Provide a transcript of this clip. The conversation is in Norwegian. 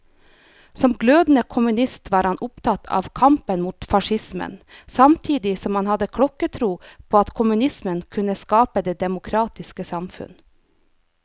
Som glødende kommunist var han opptatt av kampen mot facismen, samtidig som han hadde klokketro på at kommunismen kunne skape det demokratiske samfunn.